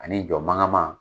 Ani jɔ mangaman.